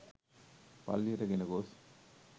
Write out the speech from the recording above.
පල්ලියට ගෙන ගොස්